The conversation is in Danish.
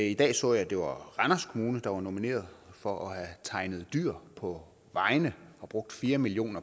i dag så jeg det var randers kommune der var nomineret for at have tegnet dyr på vejene og brugt fire million